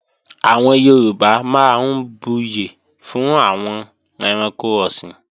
Àwọn Yorùbá máa ń buyè fún àwọn ẹranko ọ̀sìn